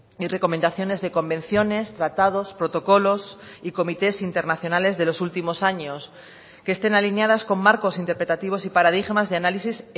y recomendaciones de convenciones tratados protocolos y comités internacionales de los últimos años que estén alineadas con marcos interpretativos y paradigmas de análisis